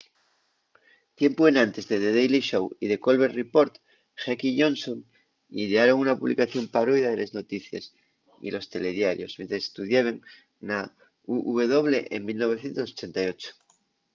tiempu enantes de the daily show y the colbert report heck y johnson idearon una publicación parodia de les noticies y los telediarios mientres estudiaben na uw en 1988